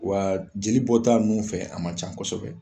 Wa jeli bɔ taa nun fɛ a man ca kosɛbɛ